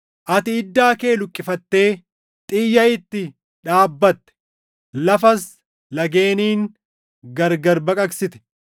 Ati iddaa kee luqqifattee xiyya itti dhaabbatte. Lafas lageeniin gargar baqaqsite;